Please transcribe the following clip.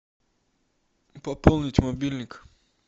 пополнить мобильник